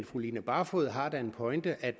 fru line barfod har da en pointe i at